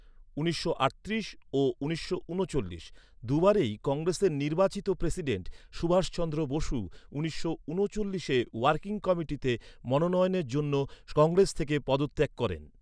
উনিশশো আটত্রিশ ও উনিশশো ঊনচল্লিশ, দু’বারেই কংগ্রেসের নির্বাচিত প্রেসিডেন্ট সুভাষচন্দ্র বসু উনিশশো ঊনচল্লিশে ওয়ার্কিং কমিটিতে মনোনয়নের জন্য কংগ্রেস থেকে পদত্যাগ করেন